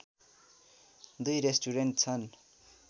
दुई रेस्टुरेन्ट छन्